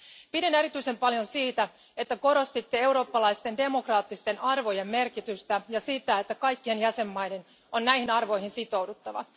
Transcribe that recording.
Pidin erityisen paljon siitä, että korostitte eurooppalaisten demokraattisten arvojen merkitystä, ja siitä, että kaikkien jäsenmaiden on näihin arvoihin sitouduttava.